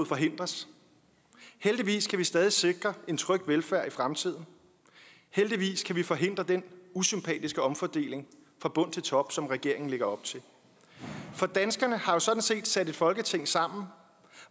forhindres heldigvis kan vi stadig sikre en tryg velfærd i fremtiden heldigvis kan vi forhindre den usympatiske omfordeling fra bund til top som regeringen lægger op til for danskerne har jo sådan set sat et folketing sammen